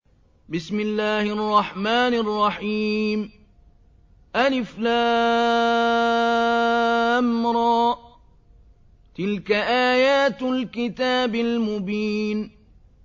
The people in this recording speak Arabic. الر ۚ تِلْكَ آيَاتُ الْكِتَابِ الْمُبِينِ